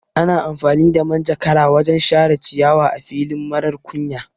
Ana amfani da manjakara wajan share ciyawa a fili marar kunya